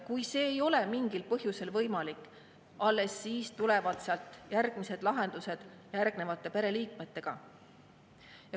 Kui see ei ole mingil põhjusel võimalik, alles siis tulevad järgmised lahendused teiste pereliikmete abil.